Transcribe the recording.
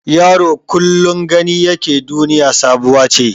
Yaro kullum gani yake duniya sabuwa ce.